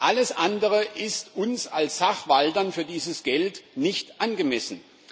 Alles andere ist uns als Sachwaltern für dieses Geld nicht angemessen.